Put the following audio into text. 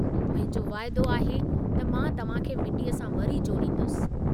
मुंहिंजो वाइदो आहे त मां तव्हां खे मिट्टीअ सां वरी जोड़ींदुसि।